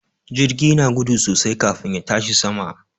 Jirgi na gudu sosai kafin ya tashi sama.